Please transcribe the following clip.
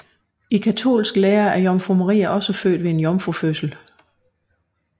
I katolsk lære er Jomfru Maria også født ved en jomfrufødsel